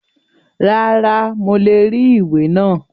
Rárá, mo le rí ìwé náà.